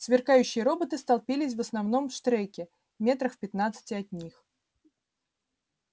сверкающие роботы столпились в основном штреке метрах в пятнадцати от них